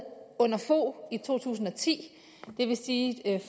under fogh i to tusind og ti det vil sige